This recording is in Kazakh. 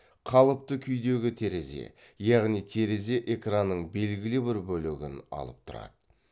қалыпты күйдегі терезе яғни терезе экранның белгілі бір бөлігін алып тұрады